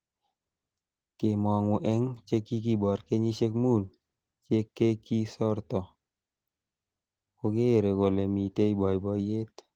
Kemongu eng chekikibor kenyisiek mut che kekisorto kokere kole mitei boiboiyet